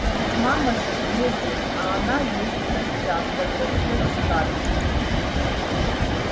но ведь мама же леди а она есть в гостях возразила скарлетт